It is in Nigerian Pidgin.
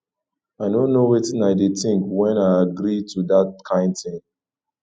i no know wetin i dey think wen i agree do dat kin thing